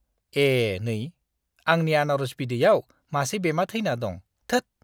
ए, नै! आंनि आनारस बिदैयाव मासे बेमा थैना दं, थोद!